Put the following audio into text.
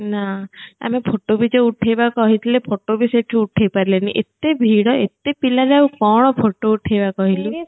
ନା ଆମେ photoବି ଯୋଉ ଉଠେଇବା କହିଥିଲେ photo ବି ସେଇଠୁ ଉଠେଇ ପାରିଲେଣି ଏତେ ଭିଡ ଏତେ ପିଲାରେ ଆଉ କଣ photo ଉଠେଇବା କହିଲୁ